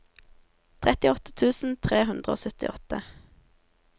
trettiåtte tusen tre hundre og syttiåtte